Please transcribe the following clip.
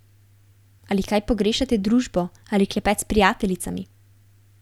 Ali kaj pogrešate družbo ali klepet s prijateljicami?